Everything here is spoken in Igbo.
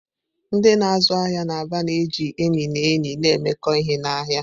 Ndị na-azụ ahịa n'Aba na-eji enyi na enyi na-emekọ ihe n'ahịa.